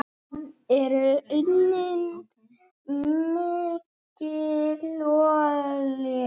Þar er unnin mikil olía.